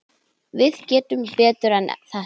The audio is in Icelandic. Við getum betur en þetta.